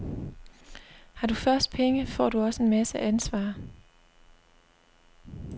Har du først penge, får du også en masse ansvar.